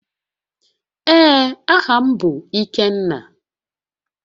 Ee, aha m bu Ikenna